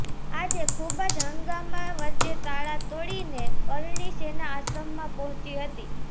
આજે ખુબ જ હંગામાં વચ્ચે તાળાં તોડીને કરણી સેના આશ્રમમાં પહોંચી હતી